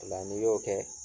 O la n'i y'o kɛ